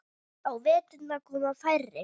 Á veturna koma færri.